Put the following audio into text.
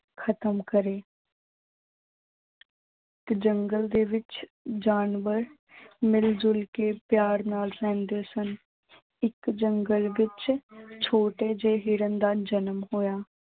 ਖਤਮ ਕਰੇ ਤੇ ਜੰਗਲ ਦੇ ਵਿੱਚ ਜਾਨਵਰ ਮਿਲ ਜੁਲ ਕੇ ਪਿਆਰ ਨਾਲ ਰਹਿੰਦੇ ਸਨ, ਇੱਕ ਜੰਗਲ ਵਿੱਚ ਛੋਟੇ ਜਿਹੇ ਹਿਰਨ ਦਾ ਜਨਮ ਹੋਇਆ।